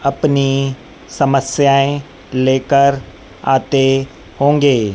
अपनी समस्याएं लेकर आते होंगे।